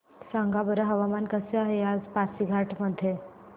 सांगा बरं हवामान कसे आहे आज पासीघाट मध्ये